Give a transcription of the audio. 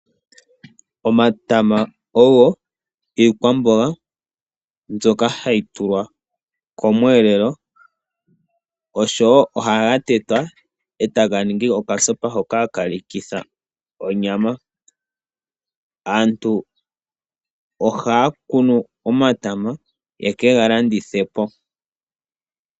Omatama ogo iikwamboga mbyoka hayi tulwa mo mweelelo, osho wo ohaga tetwa e taga ningi okasopa hoka haka lithwa onyama. Aantu ohaya kunu omatama ye kega landithe po.